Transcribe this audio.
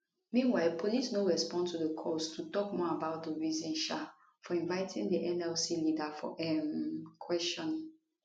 meanwhile police no respond to calls to tok more about di reason um for inviting di nlc leader for um questioning